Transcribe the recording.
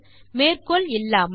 மேற்கோள் இல்லாமல்